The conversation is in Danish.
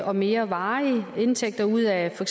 og mere varige indtægter ud af for